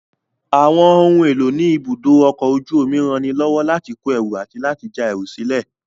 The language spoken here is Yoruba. Àwọn ohun èlò ní ibùdó ọkọ̀ ojú omi ranilọ́wọ́ láti kó ẹrù àti láti já ẹrù sílè